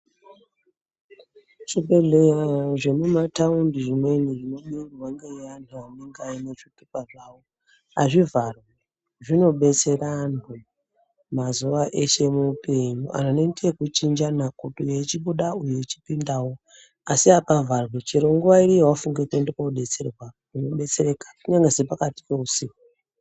Muzvibhedleya zvemuma tawundi zvimweni zvinoringirwa neanhu anenge aine zvitupa zvavo, hazvivharwi zvinodetsera anhu mazuva ese muhupenyu, anhu anoite kuchinjana umwe echipinda mumwe echibuda asi hapavharwi, chero nguva iriyiyo yawafunga kudetserwa unodetsereka kunyangwe sepakati pehusiku.